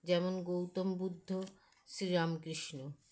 যেমন গৌতম বুদ্ধ শ্রীরামকৃষ্ণ